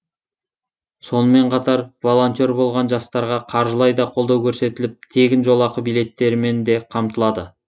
сонымен қатар волонтер болған жастарға қаржылай да қолдау көрсетіліп тегін жолақы билеттерімен де қамтылады